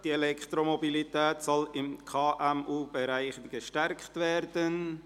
«Die Elektromobilität soll im KMU-Bereich gestärkt werden».